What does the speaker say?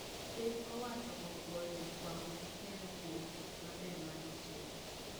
Piny owacho opwoyo jofuambo gi keyo kuwom tich maber magitimo